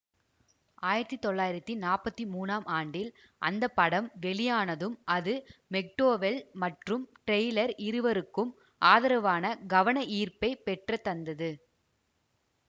ஆயிரத்தி தொள்ளாயிரத்தி நாப்பத்தி மூனாம் ஆண்டில் அந்த படம் வெளியானதும் அது மெக்டோவெல் மற்றும் டெய்லர் இருவருக்கும் ஆதரவான கவனஈர்ப்பைப் பெற்றுத்தந்தது